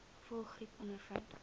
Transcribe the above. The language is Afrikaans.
voëlgriep ondervind